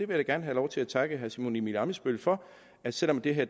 vil da gerne have lov til at takke herre simon emil ammitzbøll for at selv om det her